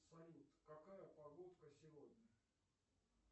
салют какая погодка сегодня